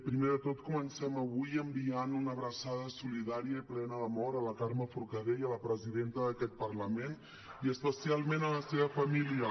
primer de tot comencem avui enviant una abraçada solidària i plena d’amor a la carme forcadell a la presidenta d’aquest parlament i especialment a la seva família